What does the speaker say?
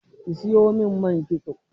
Siyo min man kitso.